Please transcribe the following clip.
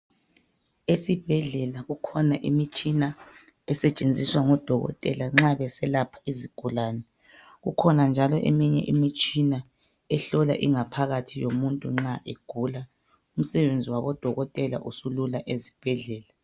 Esibhedlela kukhona imitshina esetshenziswa ngodokotela nxa beselapha izigulani ,kukhona njalo eminye imitshina ehlola ingaphakathi yomuntu nxa egula, umsebenzi wabo dokotela usulula ezibhedlela.